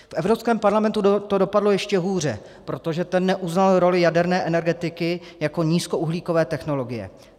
V Evropském parlamentu to dopadlo ještě hůře, protože ten neuznal roli jaderné energetiky jako nízkouhlíkové technologie.